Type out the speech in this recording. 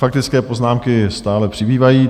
Faktické poznámky stále přibývají.